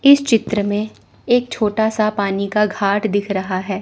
इस चित्र में एक छोटा सा पानी का घाट दिख रहा है।